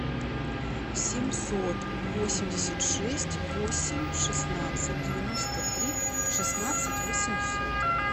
семьсот восемьдесят шесть восемь шестнадцать девяносто три шестнадцать восемьсот